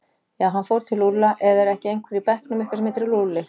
Já, hann fór til Lúlla eða er ekki einhver í bekknum ykkar sem heitir Lúlli?